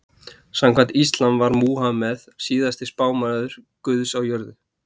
Samkvæmt íslam var Múhameð síðasti spámaður guðs á jörðu.